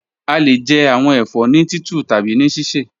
A le jẹ awọn ẹfọ ni titu tabi ni sisẹ.